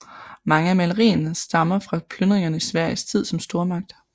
Mange af malerierne stammer fra plyndringer i Sveriges tid som stormagt